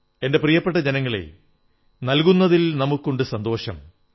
എന്റെ പ്രിയപ്പെട്ട ജനങ്ങളേ നൽകുന്നതിൽ നമുക്കുണ്ടു സന്തോഷം